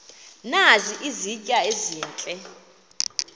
nazi izitya ezihle